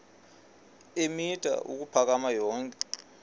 eemitha ukuphakama yonke